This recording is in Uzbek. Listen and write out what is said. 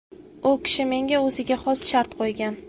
U kishi menga o‘ziga xos shart qo‘ygan.